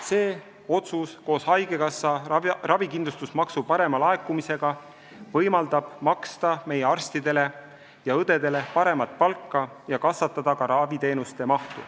See otsus koos haigekassa ravikindlustusmaksu parema laekumisega võimaldab maksta meie arstidele ja õdedele paremat palka ja kasvatada ka raviteenuste mahtu.